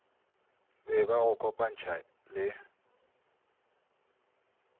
be ba go kopantšha le